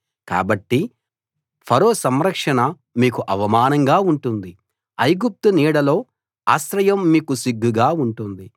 కాబట్టి ఫరో సంరక్షణ మీకు అవమానంగా ఉంటుంది ఐగుప్తు నీడలో ఆశ్రయం మీకు సిగ్గుగా ఉంటుంది